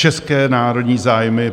České národní zájmy.